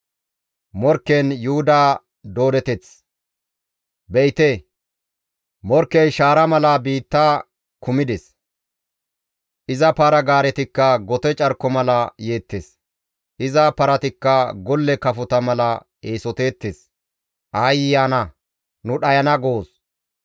Be7ite! Morkkey shaara mala biitta kumides; iza para-gaaretikka gote carko mala yeettes; iza paratikka golle kafota mala eesoteettes; aayye ana nu dhayana goos!